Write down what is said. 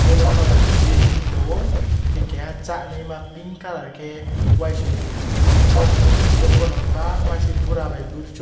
yellow colour chuhey hing tango hingke keha saneima ping colour ke waisoino papi tongyo borok pono bangma se bora bai boroisok.